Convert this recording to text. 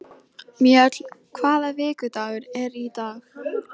Mjöll, hvaða vikudagur er í dag?